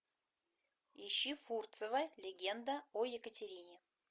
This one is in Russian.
ищи фурцева легенда о екатерине